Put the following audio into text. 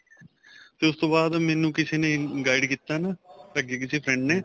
ਤੇ ਉਸ ਤੋਂ ਬਾਅਦ ਮੈਨੂੰ ਕਿਸੇ ਨੇ guide ਕੀਤਾ ਨਾ ਅੱਗੇ ਕਿਸੇ friend ਨੇ